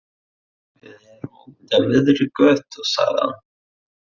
Við erum úti á miðri götu, sagði hann.